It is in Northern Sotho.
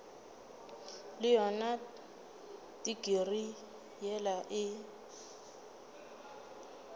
le yona tikirii yela o